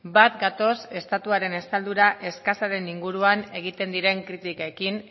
bat gatoz estatuaren estaldura eskasa den inguruan egiten diren kritikekin